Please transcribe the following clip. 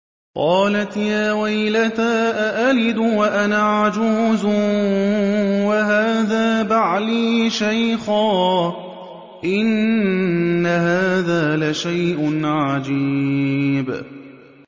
قَالَتْ يَا وَيْلَتَىٰ أَأَلِدُ وَأَنَا عَجُوزٌ وَهَٰذَا بَعْلِي شَيْخًا ۖ إِنَّ هَٰذَا لَشَيْءٌ عَجِيبٌ